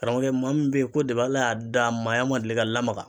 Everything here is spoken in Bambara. Karamɔgɔkɛ maa min be yen ko depi ala y'a da a maaya ma deli ka lamaga